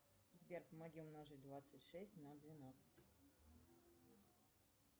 сбер помоги умножить двадцать шесть на двенадцать